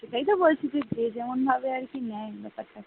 সেটাইতো বলছি যে যেমন ভাবে আর কি নেই ব্যাপারটাকে ।